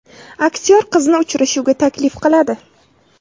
Aktyor qizni uchrashuvga taklif qiladi.